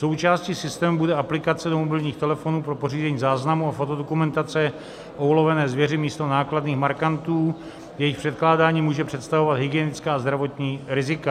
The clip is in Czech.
Součástí systému bude aplikace do mobilních telefonů pro pořízení záznamu a fotodokumentace o ulovené zvěři místo nákladných markantů, jejichž překládání může představovat hygienická a zdravotní rizika.